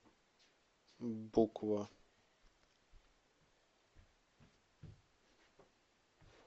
буква